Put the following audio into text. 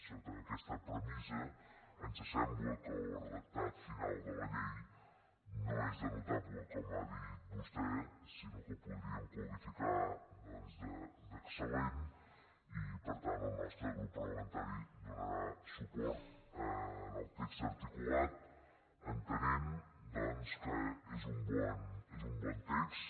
sota aquesta premissa ens sembla que el redactat final de la llei no és de notable com ha dit vostè sinó que el podríem qualificar doncs d’excel·lent i per tant el nostre grup parlamentari donarà suport al text articulat entenent que és un bon text